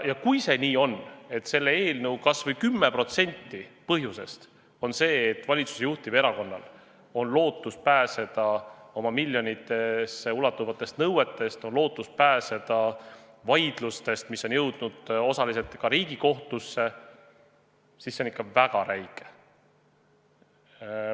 Ja kui see nii on, et kas või 10% selle eelnõu algatamise põhjusest on see, et valitsuse juhtival erakonnal on lootus pääseda talle esitatud miljonitesse ulatuvatest nõuetest, on lootus pääseda vaidlustest, mis on jõudnud osaliselt ka Riigikohtusse, siis see on ikka väga räige.